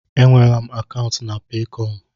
E nweela m akaụntụ na Peekọm.